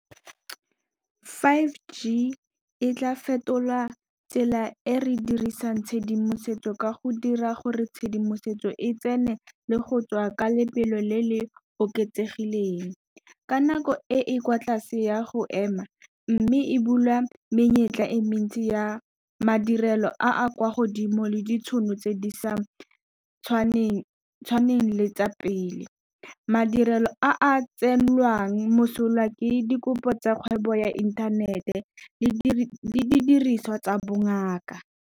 five G e tla fetola tsela e re dirisang tshedimosetso ka go dira gore tshedimosetso e tsene le go tswa ka lebelo le le oketsegileng ka nako e e kwa tlase ya go ema mme e bula menyetla e mentsi ya madirelo a a kwa godimo le ditšhono tse di sa tshwaneng le tsa pele. Madirelo a a tsenngwang mosola ke dikopo tsa kgwebo ya inthanete le didiriswa tsa bongaka.